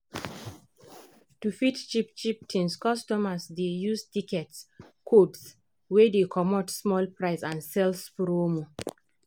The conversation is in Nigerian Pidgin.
to fit buy cheap-cheap tins customers dey use tickets codes wey dey comot small price and sales promo.